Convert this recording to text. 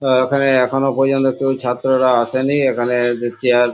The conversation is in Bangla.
আ ওখানে এখনো পর্যন্ত কেউ ছাত্ররা আসেনি এখানে দে চেয়ার ।